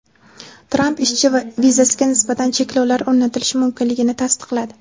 Tramp ishchi vizasiga nisbatan cheklovlar o‘rnatilishi mumkinligini tasdiqladi.